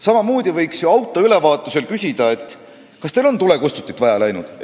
Samamoodi võiks ju autoülevaatusel küsida, kas tulekustutit on vaja läinud.